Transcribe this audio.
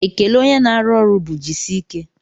Ekele onye na-arụ ọrụ bụ jisike